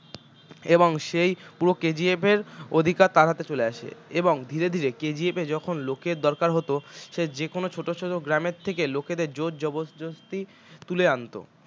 এবং সেই পুরো KGF এর অধিকার তার হাতে চলে আসে এবং ধীরে ধীরে KGF এ যখন লোকের দরকার হতো সে যে কোনও ছোট ছোট গ্রামের থেকে লোকেদের জোরজবরদস্তি তুলে আনত